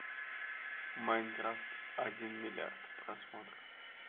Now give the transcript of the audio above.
майнкрафт один миллиард просмотров